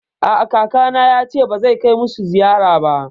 A'a, kakana yace ba zai kai musu ziyara ba